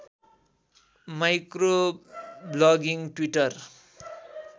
micro blogging Twitter